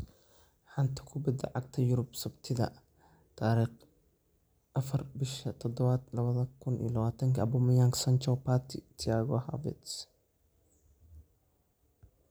Xanta kubbada cagta Yurub Sabtida 04.07.2020: Aubameyang, Sancho, Partey, Thiago, Havertz